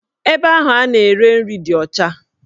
Ebe ahụ a na-ere nri dị ọcha